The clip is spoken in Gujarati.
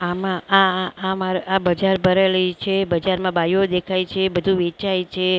આમાં આ આમાર આ બજાર ભરેલી છે બજારમાં બાઈયો દેખાય છે બધું વેચાય છે.